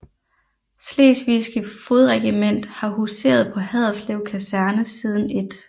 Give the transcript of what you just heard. Slesvigske Fodregiment har huseret på Haderslev Kaserne siden 1